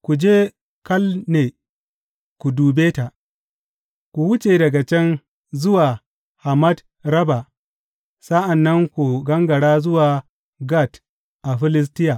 Ku je Kalne ku dube ta; ku wuce daga can zuwa Hamat rabba, sa’an nan ku gangara zuwa Gat a Filistiya.